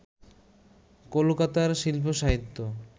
কলকাতার শিল্প-সাহিত্য